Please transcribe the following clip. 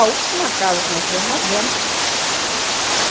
A última casa que nós tivemos, nós demos.